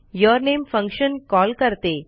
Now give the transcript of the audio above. यूरनेम function call करते